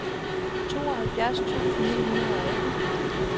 tooghalvfjerds tusind ni hundrede og atten